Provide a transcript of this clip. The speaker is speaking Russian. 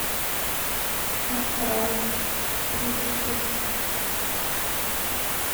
астрал третья часть